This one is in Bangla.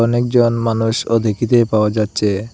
অনেকজন মানুষও দেখিতে পাওয়া যাচচে।